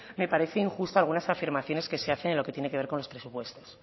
me parece injusto algunas afirmaciones que se hacen en lo que tiene que ver con los presupuestos